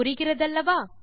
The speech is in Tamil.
புரிகிறதல்லவா